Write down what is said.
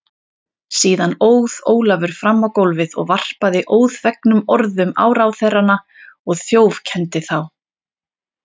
Síðan óð Ólafur fram á gólfið og varpaði óþvegnum orðum á ráðherrana og þjófkenndi þá.